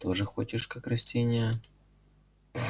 тоже хочешь как растение